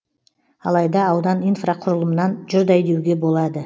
алайда аудан инфрақұрылымнан жұрдай деуге болады